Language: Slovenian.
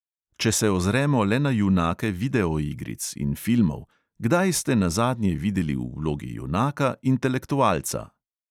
Če se ozremo le na junake videoigric in filmov – kdaj ste se nazadnje videli v vlogi junaka intelektualca?